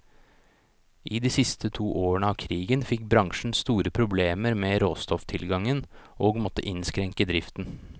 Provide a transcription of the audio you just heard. I de to siste årene av krigen fikk bransjen store problemer med råstofftilgangen, og måtte innskrenke driften.